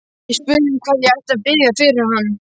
Ég spurði um hvað ég ætti að biðja fyrir hann.